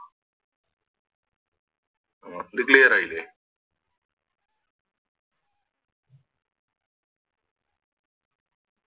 അഹ് പ്പത് Clear ആയില്ലേ